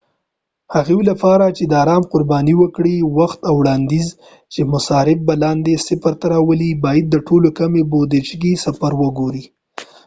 د هغوي لپاره چې دارام قربانی ورکړي وخت او وړاندوينه چې مصارف به لاندې صفر ته راولی باید د ټولو کمی بودچې سفر وګوری